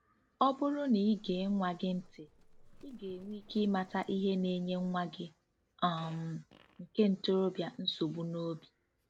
Ọ bụrụ na i gee nwa gị ntị, ị ga-enwe ike ịmata ihe na-enye nwa gị um nke ntorobịa nsogbu n'obi.